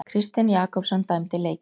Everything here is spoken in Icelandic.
Kristinn Jakobsson dæmdi leikinn.